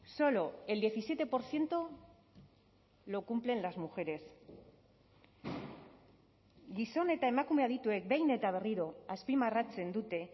solo el diecisiete por ciento lo cumplen las mujeres gizon eta emakume adituek behin eta berriro azpimarratzen dute